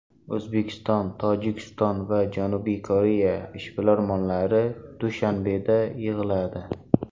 O‘zbekiston, Tojikiston va Janubiy Koreya ishbilarmonlari Dushanbeda yig‘iladi.